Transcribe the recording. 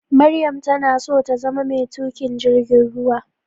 Maryam tanaso tazama metukin jirgin ruwa.